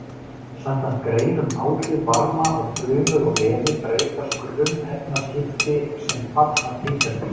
Samkvæmt grein um áhrif varma á frumur og vefi breytast grunnefnaskipti sem fall af hitastigi.